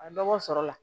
A ye dɔgɔ sɔrɔ la